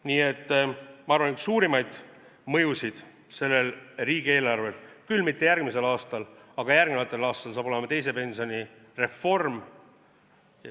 Nii et ma arvan, et selle riigieelarve üks suurimaid mõjusid – küll mitte järgmisel aastal, aga järgnevatel aastatel – saab olema teise pensionisamba reform.